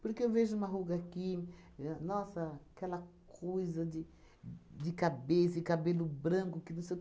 Porque eu vejo uma ruga aqui, e nossa aquela coisa de de cabeça e cabelo branco, que não sei o